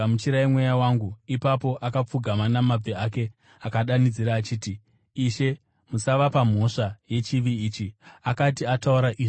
Ipapo akapfugama namabvi ake akadanidzira achiti, “Ishe, musavapa mhosva yechivi ichi.” Akati ataura izvi, akavata.